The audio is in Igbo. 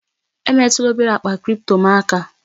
Emetụla obere akpa kripto m aka!